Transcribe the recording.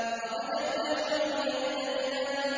مَرَجَ الْبَحْرَيْنِ يَلْتَقِيَانِ